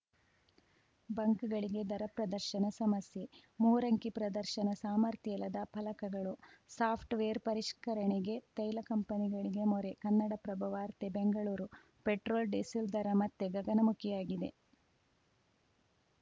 ಬಂಕ್‌ಗಳಿಗೆ ದರ ಪ್ರದರ್ಶನ ಸಮಸ್ಯೆ ಮೂರಂಕಿ ಪ್ರದರ್ಶನ ಸಾಮರ್ಥ್ಯ ಇಲ್ಲದ ಫಲಕಗಳು ಸಾಫ್ಟ್‌ವೇರ್‌ ಪರಿಷ್ಕರಣೆಗೆ ತೈಲ ಕಂಪನಿಗಳಿಗೆ ಮೊರೆ ಕನ್ನಡಪ್ರಭ ವಾರ್ತೆ ಬೆಂಗಳೂರು ಪೆಟ್ರೋಲ್‌ಡೀಸೆಲ್‌ ದರ ಮತ್ತೆ ಗಗನಮುಖಿಯಾಗಿದೆ